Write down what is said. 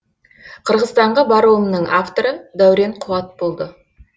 қырғызстанға баруымның авторы даурен қуат болды